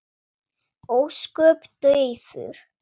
Ósköp daufur.